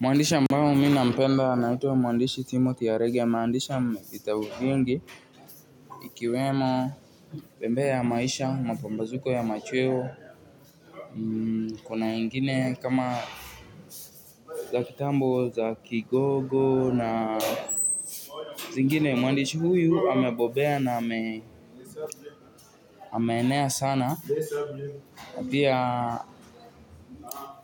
Muandishi ambao mi nampenda anaitwa muandishi Timothy Aregia muandishi wa vitabu vingi ikiwemo Bembea ya Maisha, Mapambazuko ya Machweo. Kuna ingine kama za kitambo, za kigogo na zingine muandishi huyu amebobea na ameenea sana na pia